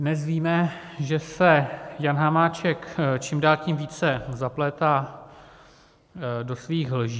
Dnes víme, že se Jan Hamáček čím dál tím více zaplétá do svých lží.